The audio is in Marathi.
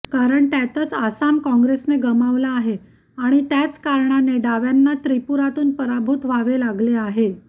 कारण त्यातच आसाम काँग्रेसने गमावला आहे आणि त्याच कारणाने डाव्यांना त्रिपुरातून पराभूत व्हावे लागलेले आहे